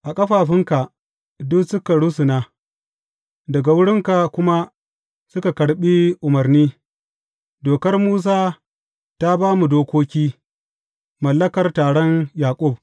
A ƙafafunka, duk suka rusuna, daga wurinka kuma suka karɓi umarni, dokar Musa ta ba mu dokoki, mallakar taron Yaƙub.